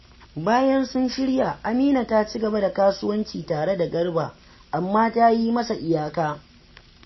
Bayan sun shirya, Amina ta ci gaba da kasuwanci tare da Garba, amma ta yi masa iyaka